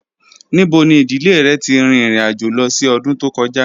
Nibo ni idile rẹ ti rin irin-ajo lọ si ọdun to kọja?